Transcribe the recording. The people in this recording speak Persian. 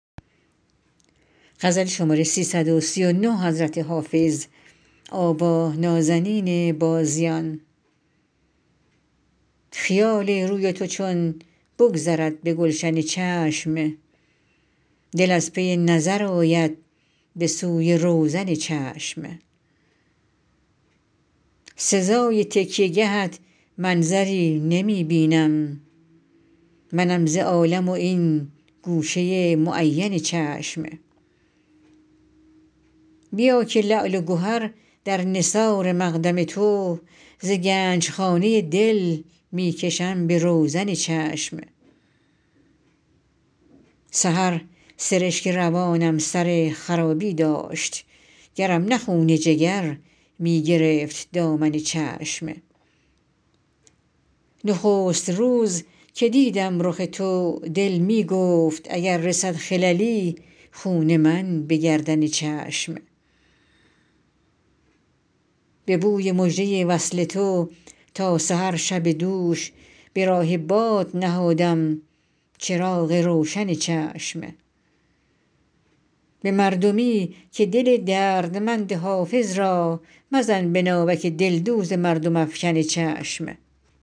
خیال روی تو چون بگذرد به گلشن چشم دل از پی نظر آید به سوی روزن چشم سزای تکیه گهت منظری نمی بینم منم ز عالم و این گوشه معین چشم بیا که لعل و گهر در نثار مقدم تو ز گنج خانه دل می کشم به روزن چشم سحر سرشک روانم سر خرابی داشت گرم نه خون جگر می گرفت دامن چشم نخست روز که دیدم رخ تو دل می گفت اگر رسد خللی خون من به گردن چشم به بوی مژده وصل تو تا سحر شب دوش به راه باد نهادم چراغ روشن چشم به مردمی که دل دردمند حافظ را مزن به ناوک دلدوز مردم افکن چشم